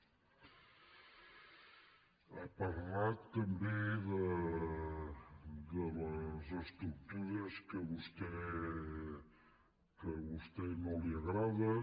ha parlat també de les estructures que a vostè no li agraden